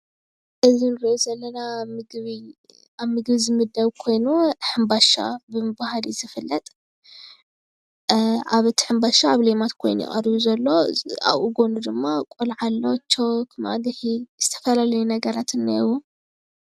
እዚ ምስሊ ህፃን ሕምባሻ ክበልዕ ተዳሊዩ ይርከብ።